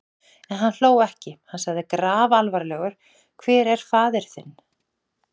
En hann hló ekki: Hann sagði grafalvarlegur:-Hver er faðir þinn?